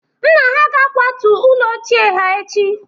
nna ha ga-akwatu ụlọ ochie ha echi